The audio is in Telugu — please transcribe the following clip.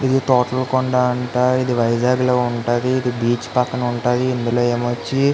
ఈ తోట్ల కొండ అంట ఇది వైజాగ్ లో ఉంటది. ఇది బీచ్ పక్కన ఉంటది. ఇందులో ఏమో వచ్చి --